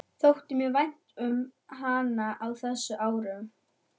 Þótti mér vænt um hana á þessum árum?